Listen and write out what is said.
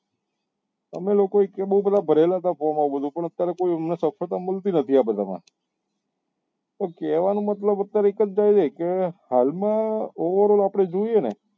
અમે લોકો એ એટલે બઉ બધા ભરેલા હતા form આવું બધું પણ અત્યારે કોઈ એમને સફળતા મળતી નથી આ બધા માં તો કેવા નો મતલબ અત્યારે એક જ થય કે હાલ માં જોઈએ ને તો